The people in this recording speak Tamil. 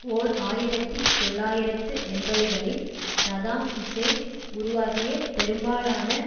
ஓர் ஆயிரத்தி தொள்ளாயிரத்து எண்பதுகளில் சதாம் ஹூசேன் உருவாக்கிய பெரும்பாலான